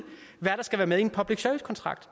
hvad der skal være med i en public service kontrakt